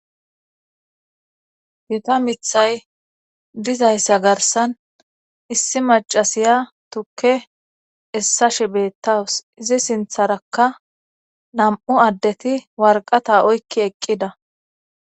Gita mithay dizayssa garsan issi macasiya tukke essa shibettawus izi sintharakka nam7u addeti warqata oykki eqqida